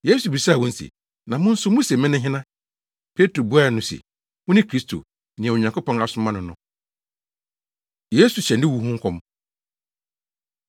Yesu bisaa wɔn se, “Na mo nso muse mene hena?” Petro buaa no se, “Wone Kristo, nea Onyankopɔn asoma no no.” Yesu Hyɛ Ne Wu Ho Nkɔm